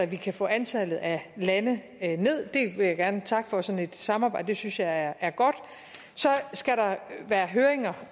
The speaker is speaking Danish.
vi kan få antallet af lande ned jeg vil gerne takke for sådan et samarbejde det synes jeg er godt så skal der være høringer